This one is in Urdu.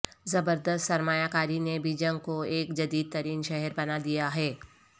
زبردست سرمایہ کاری نے بیجنگ کو ایک جدید ترین شہر بنا دیا ہے